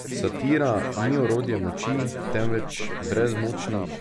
Satira ni orodje moči, temveč brezmočnih.